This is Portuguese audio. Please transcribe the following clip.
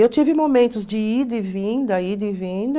Eu tive momentos de ida e vinda, ida e vinda.